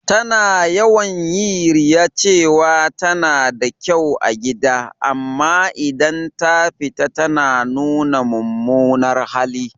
Ta na yawan yi riya cewa ta na da kyau a gida, amma idan ta fita ta na nuna mumunar hali.